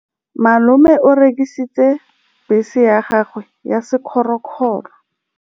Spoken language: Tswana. Malome o rekisitse bese ya gagwe ya sekgorokgoro.